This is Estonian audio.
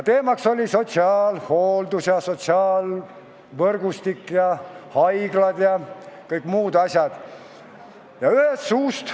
Teemaks oli sotsiaalhooldus, sotsiaalvõrgustik, haiglad ja kõik muud asjad.